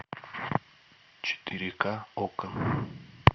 четыре ка окко